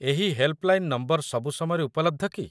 ଏହି helpline number ସବୁ ସମୟରେ ଉପଲବ୍ଧ କି?